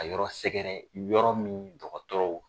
Ka yɔrɔ sɛgɛrɛ yɔrɔ min dɔgɔtɔrɔw